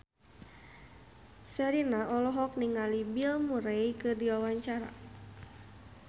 Sherina olohok ningali Bill Murray keur diwawancara